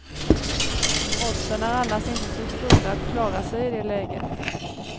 Oddsen är annars inte så stora att klara sig i det läget.